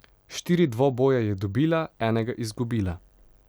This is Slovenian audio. Štiri dvoboje je dobila, enega izgubila.